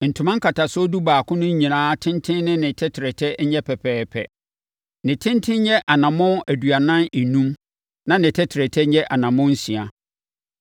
Ntoma nkatasoɔ dubaako no nyinaa tenten ne ne tɛtrɛtɛ nyɛ pɛpɛɛpɛ. Ne tenten nyɛ anammɔn aduanan enum na ne tɛtrɛtɛ nyɛ anammɔn nsia.